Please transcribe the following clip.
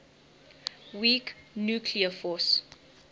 weak nuclear force